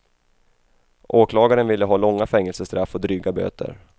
Åklagaren ville ha långa fängelsestraff och dryga böter.